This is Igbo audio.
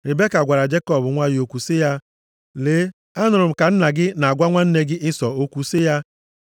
Ribeka gwara Jekọb nwa ya okwu sị ya, “Lee, anụrụ m ka nna gị na-agwa nwanne gị Ịsọ okwu sị ya,